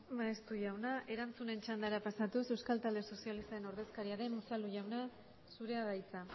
maeztu jauna erantzunen txandara pasatuz euskal talde sozialisten ordezkaria den unzalu jauna zurea da hitza